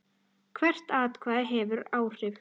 Hvert atkvæði hefur áhrif.